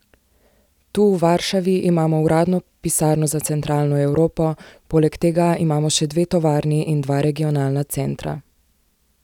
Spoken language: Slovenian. Tu v Varšavi imamo uradno pisarno za Centralno Evropo, poleg tega imamo še dve tovarni in še dva regionalna centra.